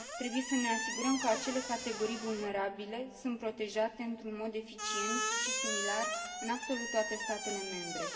Trebuie să ne asigurăm că acele categorii vulnerabile sunt protejate într un mod eficient și similar în absolut toate statele membre.